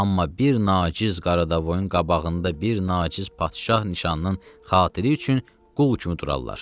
Amma bir naciz Qaradavoyun qabağında bir naciz padşah nişanının xatiri üçün qul kimi durarlar.